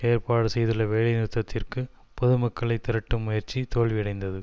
ஏற்பாடு செய்துள்ள வேலை நிறுத்தத்திற்கு பொதுமக்களைத் திரட்டும் முயற்சி தோல்வியடைந்தது